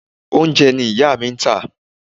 Oúnjẹ ni ìyá mi ń tà.